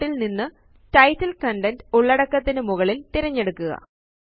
Layoutല് നിന്ന് title content ഉള്ളടക്കത്തിനു മുകളില് തിരഞ്ഞെടുക്കുക